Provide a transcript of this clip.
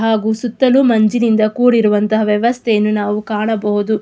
ಹಾಗು ಸುತ್ತಲೂ ಮಂಜಿನಿಂದ ಕೂಡಿರುವಂತ ವ್ಯವಸ್ಥೆಯನ್ನು ನಾವು ಕಾಣಬಹುದು.